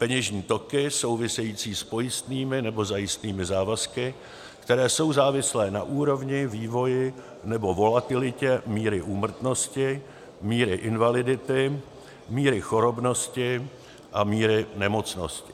peněžní toky související s pojistnými nebo zajistnými závazky, které jsou závislé na úrovni, vývoji nebo volatilitě míry úmrtnosti, míry invalidity, míry chorobnosti a míry nemocnosti;